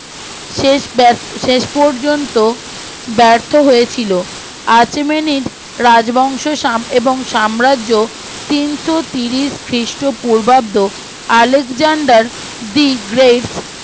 শেষ বেশ শেষ পর্যন্ত ব্যর্থ হয়েছিল আরসেমেনিস রাজবংশ এবং সাম্রাজ্য তিনশো তিরিশ খ্রীষ্ট পুর্বাদ আলেকজান্ডার দি গ্রেট